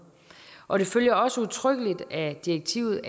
og det følger også udtrykkeligt af direktivet